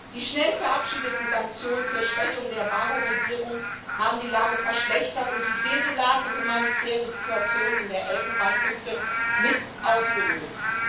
Die schnell verabschiedeten Sanktionen zur Schwächung der Gbagbo Regierung haben die Lage verschlechtert und die desolate humanitäre Situation in der Elfenbeinküste mit ausgelöst.